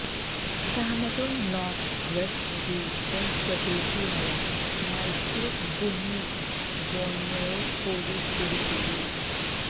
Cameron north west region സ്വദേശിയായ Michael Bunwi ബോന്വയെ police പിടികൂടി